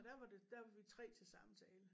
Og der var det der var vi 3 til samtale